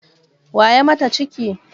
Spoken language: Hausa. Wa ya mata ciki?